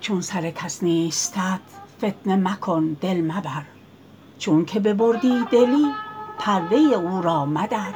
چون سر کس نیستت فتنه مکن دل مبر چونک ببردی دلی پرده او را مدر